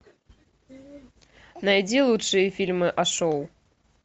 найди лучшие фильмы о шоу